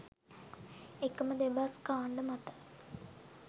එකම දෙබස් කාණ්ඩ මත